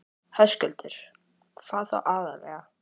Höskuldur: Hvað þá aðallega?